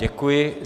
Děkuji.